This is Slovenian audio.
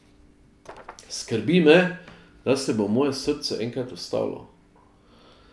Skrbi me, da se bo moje srce enkrat ustavilo.